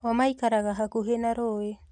O maikaraga hakuhĩ na ruĩ